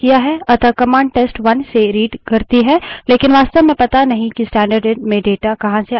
लेकिन वास्तव में पता नहीं है कि स्टैन्डर्डइन stdin में data कहाँ से as रहा है